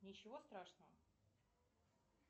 ничего страшного